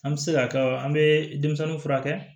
An bɛ se k'a kɛ an bɛ denmisɛnninw furakɛ